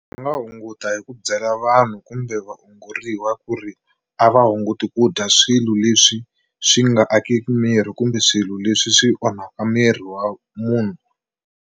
Swi nga hunguta hi ku byela vanhu kumbe vaongoriwa ku ri a va hunguti ku dya swilo leswi swi nga akiki miri kumbe swilo leswi swi onhaka miri wa munhu.